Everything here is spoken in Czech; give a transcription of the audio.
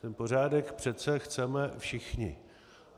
Ten pořádek přece chceme všichni.